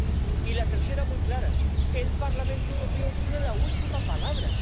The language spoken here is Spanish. Y la tercera —muy clara—, el Parlamento Europeo tiene la última palabra.